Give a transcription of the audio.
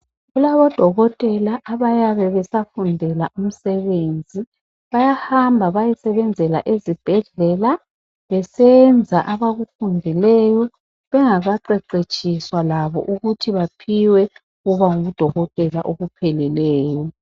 Kulabo dokotela abayabe besafundela umsebenzi bayahamba bayesebenzela ezibhedlela besenza abakufundileyo bengakaqeqetshiswa labo ukuthi baphiwe ukuba ngudokotela okupheleleyo.